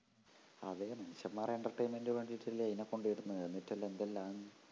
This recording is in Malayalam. അതേ മനുഷ്യന്മാരുടെ entertainment നു വേണ്ടീട്ടല്ലേ ഇതിനെ കൊണ്ടെയിടുന്നതു എന്നിട്ടെന്തെല്ലാം എന്തെല്ലാണ്